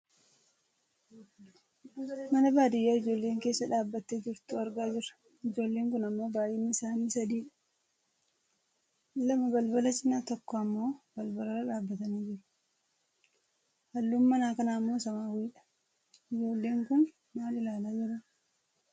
Mana baadiyyaa ijoolleen keessa dhaabbattee jirtu argaa jirra. Ijoolleen kun ammoo baayyinni isaanii sadidha. Lama balbala cinaa tokko ammoo balbala irra dhaabbatanii jiru. Halluun mana kanaammoo samaawwiidha. Ijoolleen kun maal ilalaa jiru?